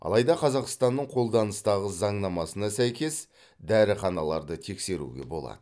алайда қазақстанның қолданыстағы заңнамасына сәйкес дәріханаларды тексеруге болады